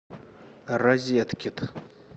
розеткид